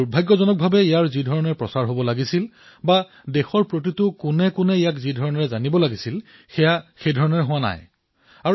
কিন্তু দুৰ্ভাগ্য যে ইয়াৰ যেনেদৰে প্ৰচাৰ হব লাগিছিল দেশৰ প্ৰান্তেপ্ৰান্তে ইয়াৰ কথা প্ৰচাৰ হব লাগিছিল সেয়া নহলগৈ